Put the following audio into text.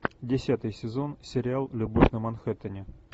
десятый сезон сериал любовь на манхэттене